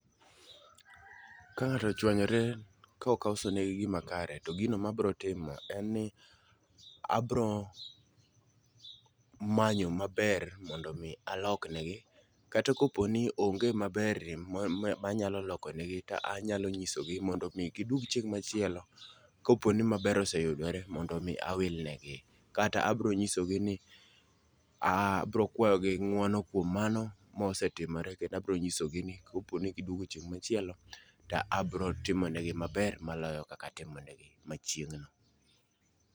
Ka ng'ato ochwanyore ka akosone gima kare to gino mabro timo en ni: abro manyo maber mondo mi alokne gi kata ka po ni onge maber manya lokone gi ta anyalo nyisogi mondo gidwog chieng' machielo ka maber oseyudore mondo mi awil ne gi. Kata abro nyisogi ni abro kwayogi ng'uono kuom mano mosetimore kendo abo nyisogi ni kapo ni giduogo chieng machielo abro timone gi maber maloyo kaka atimone gi machieng' no.